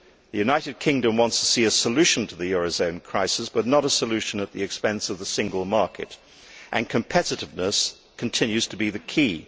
The United Kingdom wants to see a solution to the eurozone crisis, but not a solution at the expense of the single market, and competitiveness continues to be the key.